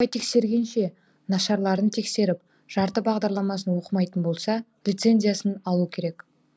жаппай тексергенше нашарларын тексеріп жарты бағдарламасын оқымайтын болса лицензиясын алу керек